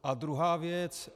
A druhá věc.